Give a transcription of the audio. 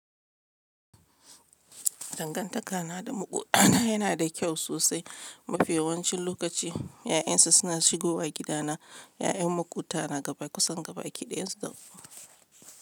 Dangantakana da maƙwabtana yana da kyau sosai. Mafi yawancin lokaci 'ya'yansu suna shigowa gidana. 'Ya'yan maƙwabta na gaba kusan gabaki ɗaya su da.